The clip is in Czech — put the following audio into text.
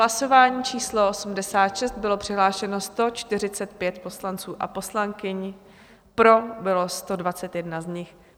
Hlasování číslo 86, bylo přihlášeno 145 poslanců a poslankyň, pro bylo 121 z nich.